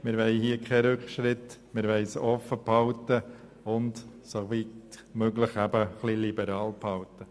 Wir wollen keinen Rückschritt, und wir wollen die Formulierung offen und liberal halten.